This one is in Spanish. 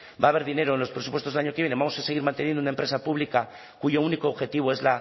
va a haber dinero en los presupuestos del año que viene vamos a seguir manteniendo una empresa pública cuyo único objetivo es